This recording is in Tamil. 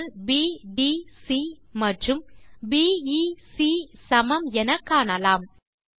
கோணங்கள் பிடிசி மற்றும் பிஇசி சமம் என காணலாம்